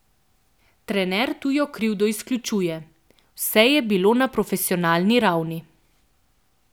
Trener tujo krivdo izključuje: 'Vse je bilo na profesionalni ravni.